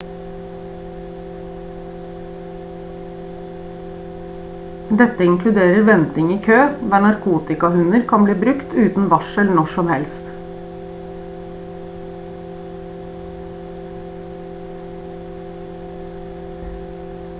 dette inkluderer venting i kø der narkotikahunder kan bli brukt uten varsel når som helst